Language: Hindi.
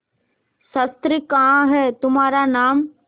शस्त्र कहाँ है तुम्हारा नाम